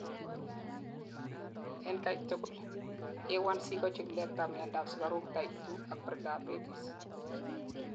en katugul: A1C kochikilet ab miandap sigaruk type 2 ak prediabetes